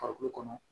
Farikolo kɔnɔ